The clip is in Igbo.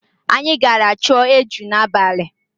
Anyị gara chọọ eju n'abalị.